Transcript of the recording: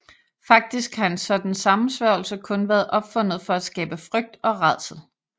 Faktisk har en sådan sammensværgelse kun været opfundet for at skabe frygt og rædsel